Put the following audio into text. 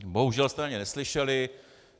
Bohužel jste na ně neslyšeli.